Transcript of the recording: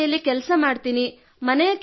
ಅಡುಗೆ ಮನೆಯಲ್ಲಿ ಕೆಲಸ ಮಾಡುತ್ತೇನೆ